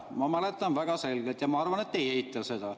Ma mäletan seda väga selgelt, ja ma arvan, et te ei eita seda.